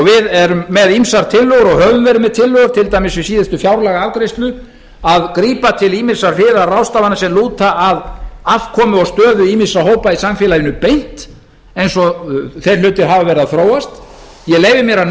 erum með ýmsar tillögur og höfum verið með tillögur til dæmis við síðustu fjárlagaafgreiðslu að grípa til ýmissa hliðarráðstafana sem lúta að afkomu og stöðu ýmissa hópa í samfélaginu beint eins og þeir hlutir hafa verið að þróast ég leyfi mér að